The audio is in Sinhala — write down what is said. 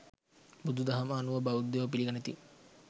බුදුදහම අනුව බෞද්ධයෝ පිළිගනිති.